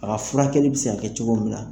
A ka furakɛli be se ka kɛ cogo min na.